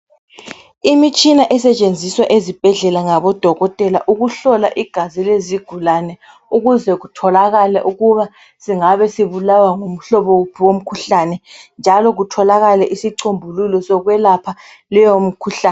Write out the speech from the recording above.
Imitshina esetshenziswa ezibhedlela ngabodokotela. Ukuhlola igazi lleziigulane. Ukuze kutholakale ukuba singabe sibulawa ngumhlobo wuphi womkhuhlane, njalo kutholakale isicombululo, sokwelapha leyomkhuhlane,